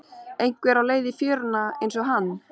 Einhver á leið í fjöruna einsog hann.